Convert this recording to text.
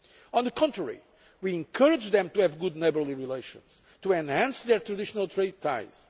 Russia. On the contrary, we encourage them to have good neighbourly relations and enhance their traditional trade